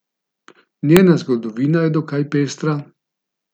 Njena zgodovina je dokaj pestra.